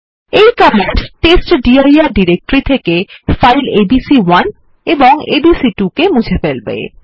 এই কমান্ড টেস্টডির ডিরেক্টরি থেকে ফাইল এবিসি1 এবং এবিসি2 মুছে ফেলবে